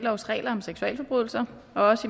også